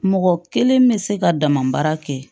Mɔgɔ kelen bɛ se ka dama baara kɛ